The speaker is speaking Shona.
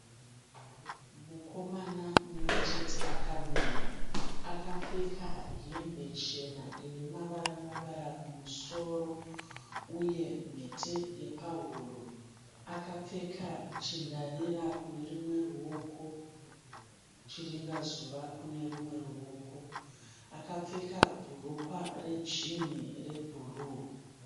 Mukomana mumwechete akamira. Akapfeka hembe chena inemavara-mavara kumusoro uye mhete yepahuro. Akapfeka chindarira kunerumwe ruoko, chiringazuva kunerumwe ruoko. Akapfeka bhurukwa rejinhi rebhuruu.